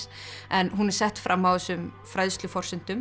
en hún er sett fram á þessum